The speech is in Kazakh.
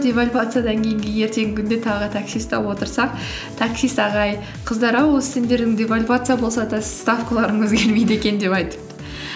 девальвациядан кейінгі ертеңгі күнінде тағы такси ұстап отырсақ таксист ағай қыздар ау осы сендердің девальвация болса да ставкаларын өзгермейді екен деп айтыпты